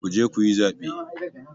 Ku je ku yi zaɓe!